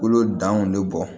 Kolo danw bɛ bɔ